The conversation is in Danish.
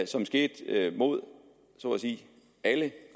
som skete mod så at sige alle